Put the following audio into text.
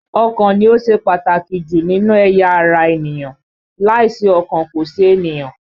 Ọkàn ni ó ṣe pàtàkì jù nínú ẹ̀yà ara ènìyàn, láìsí ọkàn, kò sí ènìyàn